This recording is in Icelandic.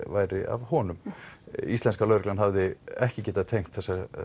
væri af honum íslenska lögreglan hafði ekki getað tengt